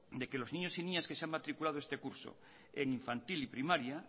de que los niños y niñas que se han matriculado de este curso en infantil y primaria